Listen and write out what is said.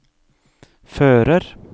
fører